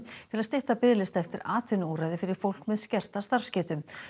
til að stytta biðlista eftir atvinnuúrræði fyrir fólk með skerta starfsgetu